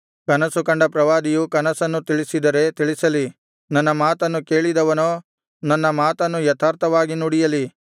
ಕನಸು ಕಂಡ ಪ್ರವಾದಿಯು ಕನಸನ್ನು ತಿಳಿಸಿದರೆ ತಿಳಿಸಲಿ ನನ್ನ ಮಾತನ್ನು ಕೇಳಿದವನೋ ನನ್ನ ಮಾತನ್ನು ಯಥಾರ್ಥವಾಗಿ ನುಡಿಯಲಿ